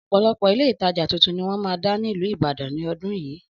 Ọ̀pọ̀lọpọ̀ Ilé-ìtajà tuntun ni wọ́n máa dá nílùú Ìbàdàn ní ọdún yìí